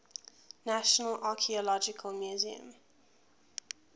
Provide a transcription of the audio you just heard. national archaeological museum